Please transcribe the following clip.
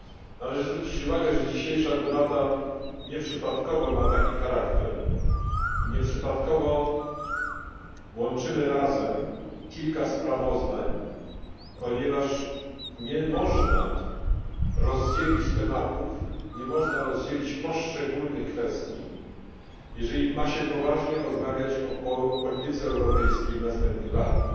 Należy zwrócić uwagę, że dzisiejsza debata nieprzypadkowo ma taki charakter i nieprzypadkowo łączymy razem kilka sprawozdań, ponieważ nie można rozdzielić tematów ani poszczególnych kwestii, jeżeli ma się poważnie rozmawiać o polityce europejskiej w następnych latach.